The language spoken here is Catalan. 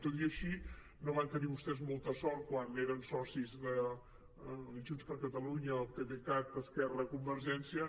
tot i així no van tenir vostès molta sort quan eren socis de junts per catalunya el pdecat esquerra convergència